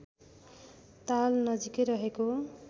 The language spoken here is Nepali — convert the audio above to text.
ताल नजिकै रहेको